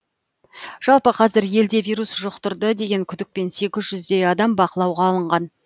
жалпы қазір елде вирус жұқтырды деген күдікпен сегіз жүздей адам бақылауға алынған